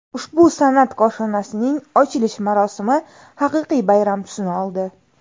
Ushbu san’at koshonasining ochilish marosimi haqiqiy bayram tusini oldi.